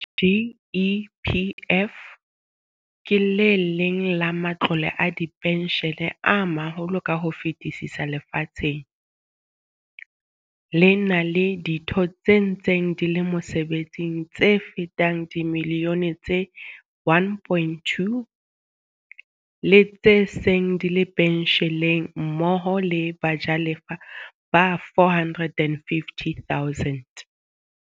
GEPF ke le leng la ma tlole a dipentjhele a maholo ka ho fetisisa lefatsheng, le na le ditho tse ntseng di le mosebetsing tse fetang dimi lione tse 1.2, le tse seng di le pentjheleng mmoho le bajalefa ba 450 000.